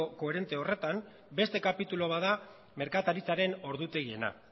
koherente horretan beste kapitulu bat da merkataritzaren ordutegiena